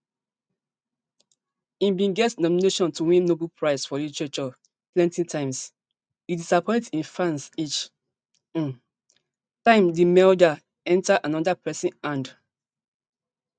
ngg bin get nomination to win nobel prize for literature plenty times e disappoint im fans each um time di medal enta anoda pesin hand